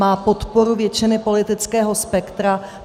Má podporu většiny politického spektra.